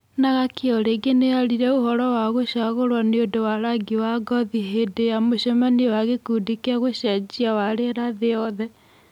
Nagaki o rĩngĩ nĩ aririe ũhoro wa gũcagũruo nĩũndũ wa rangi wa ngothi hĩndĩ ya mũcemanio wa gĩkundi kĩa gũcenjia wa rĩera thĩ yothe.